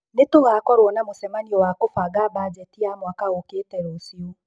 Nĩ tũgakorũo na mũcemanio wa kũbanga mbanjeti ya mwaka ũũkĩte rũciũ.